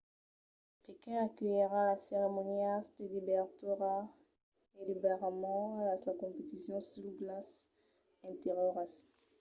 pequin aculhirà las ceremonias de dobertura e de barrament e las competicions sus glaç interioras